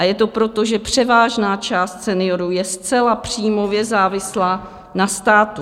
A je to proto, že převážná část seniorů je zcela příjmově závislá na státu.